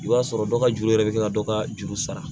I b'a sɔrɔ dɔ ka juru yɛrɛ bɛ kɛ ka dɔ ka juru sara